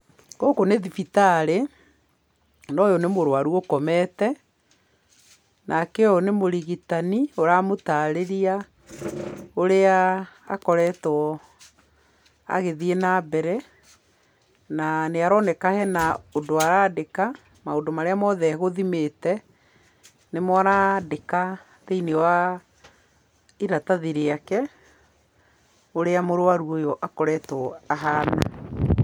Gũkũ nĩ thibitarĩ, na ũyũ nĩ mwararu ũkomete, nake ũyũ nĩ mũrigitani ũramũtarĩria ũrĩa akoretwo agĩthiĩ na mbere, na nĩaroneka harĩ na ũndũ arandĩka, maũndũ marĩa mothe e gũthimĩte nĩmo arandĩka thĩinĩ wa iratathi rĩake, ũrĩa mũrwaru ũyũ akoretwo ahana.